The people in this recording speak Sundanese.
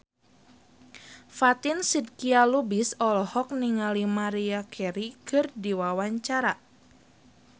Fatin Shidqia Lubis olohok ningali Maria Carey keur diwawancara